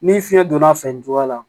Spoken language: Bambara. Ni fiɲɛ donna a fɛ nin cogoya la